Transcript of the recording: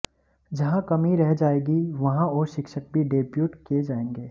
जहां कमी रह जाएगी वहां और शिक्षक भी डेप्यूट किए जाएंगे